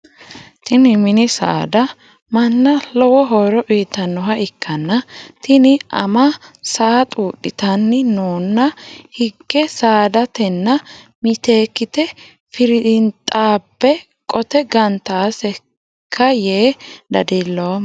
Tinni minni saada manna lowo horo uyitanoha ikanna tinni ama saa xuudhitanni noonna hige saadatenna miteekite firinxaabe qoxe gantaseka yee dadiloomo.